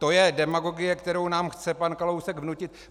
To je demagogie, kterou nám chce pan Kalousek vnutit.